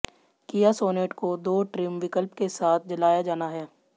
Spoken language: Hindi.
किया सॉनेट को दो ट्रिम विकल्प के साथ लाया जाना है